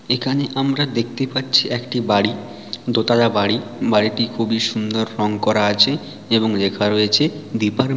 এখানে আমরা দেখতে পাচ্ছি একটি বাড়ি দোতলা বাড়ি বাড়িটি খুবই সুন্দর রং করা আছে এবং লেখা রয়েছে ডিপার --